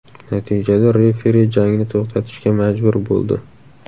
Natijada referi jangni to‘xtatishga majbur bo‘ldi.